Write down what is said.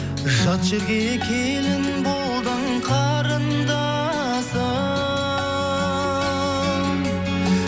жат жерге келін болдың қарындасым